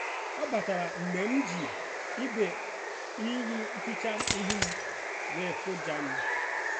ọ batara mgbe m ji igwe iru eficha ihu m wee kụjaa m.